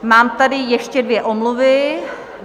Mám tady ještě dvě omluvy.